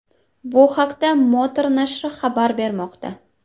Bu haqda Motor nashri xabar bermoqda .